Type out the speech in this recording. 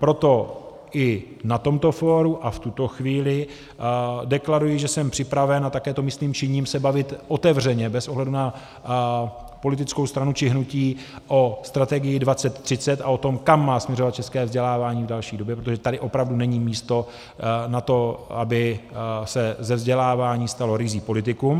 Proto i na tomto fóru a v tuto chvíli deklaruji, že jsem připraven, a také to myslím činím, se bavit otevřeně bez ohledu na politickou stranu či hnutí o strategii 2030 a o tom, kam má směřovat české vzdělávání v další době, protože tady opravdu není místo na to, aby se ze vzdělávání stalo ryzí politikum.